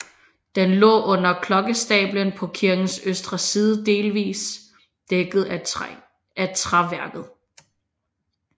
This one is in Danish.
Den lå under klokkestablen på kirkens østre side delsvis dækket af træværket